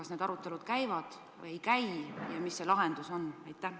Kas need arutelud käivad või ei käi ja mis see lahendus on?